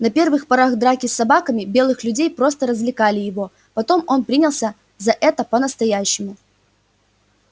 на первых порах драки с собаками белых людей просто развлекали его потом он принялся за это по настоящему